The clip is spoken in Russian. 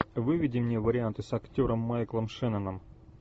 выведи мне варианты с актером майклом шенноном